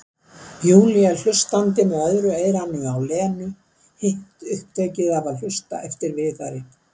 Júlía hlustandi með öðru eyranu á Lenu, hitt upptekið af að hlusta eftir Viðari.